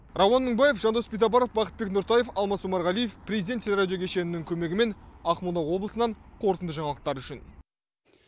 рауан мыңбаев жандос битабаров бақытбек нұртаев алмаз омарғалиев президент телерадио кешенінің көмегімен ақмола облысынан қорытынды жаңалықтар үшін